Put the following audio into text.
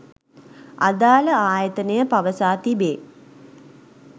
අදාළ ආයතනය පවසා තිබේ.